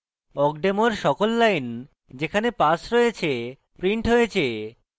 awkdemo এর সকল lines যেখানে pass রয়েছে printed হয়েছে